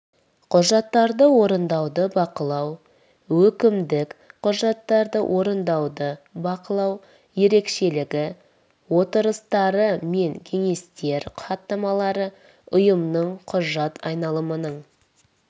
құжаттарды орындауды бақылау өкімдік құжаттарды орындауды бақылау ерекшелігі отырыстары мен кеңестер хаттамалары ұйымның құжат айналымының